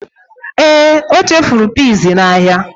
Ee, o chefuru peas n'ahịa.